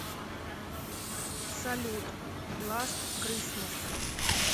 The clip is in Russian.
салют ласт крисмас